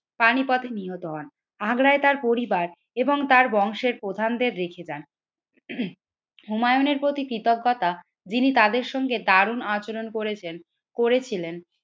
পানি পথে নিহত হন আগ্রায় তার পরিবার এবং তার বংশের প্রধানদের রেখে যান। হুমায়ুনের প্রতি কৃতজ্ঞতা যিনি তাদের সঙ্গে দারুন আচরণ করেছেন করেছিলেন